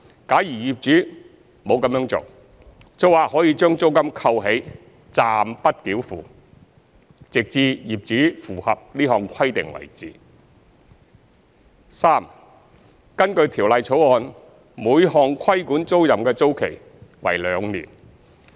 假如業主沒有這樣做，租客可將租金扣起，暫不繳付，直至業主符合這項規定為止；三根據《條例草案》，每項規管租賃的租期為兩年。